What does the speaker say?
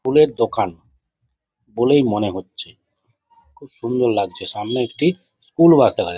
ফুলের দোকান বলেই মনে হচ্ছে খুব সুন্দর লাগছে সামনে একটি স্কুল বাস দেখা যাচ্ছে।